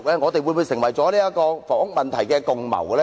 我們會否成為了房屋問題的共犯呢？